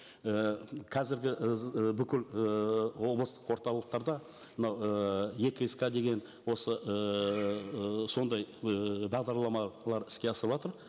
ііі қазіргі і і бүкіл ыыы облыстық орталықтарда мынау ііі е кск деген осы ыыы сондай ыыы бағдарламалар іске асырылыватыр